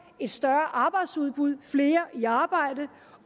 et større arbejdsudbud flere i arbejde